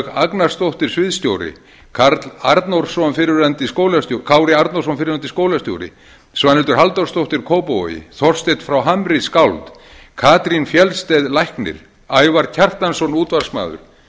agnarsdóttir sviðsstjóri kári arnórsson fyrrverandi skólastjóri svanhildur halldórsdóttir kópavogi þorsteinn frá hamri skáld katrín fjeldsted læknir ævar kjartansson útvarpsmaður